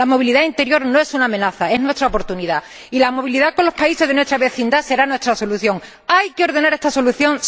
La movilidad interior no es una amenaza, es nuestra oportunidad y la movilidad con los países de nuestra vecindad será nuestra solución. ¿Hay que ordenar esta solución?